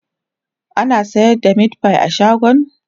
ana sayar da meatfie a shagon?